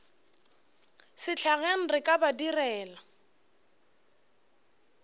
sehlageng re ka ba direla